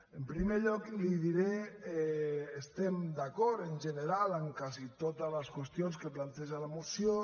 en primer lloc li diré que estem d’acord en general en quasi totes les qüestions que planteja la moció